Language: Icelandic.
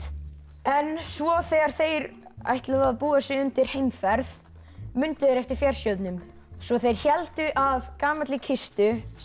en svo þegar þeir ætluðu að búa sig undir heimferð mundu þeir eftir fjársjóðnum svo þeir héldu að gamalli kistu sem